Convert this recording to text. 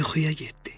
O yuxuya getdi.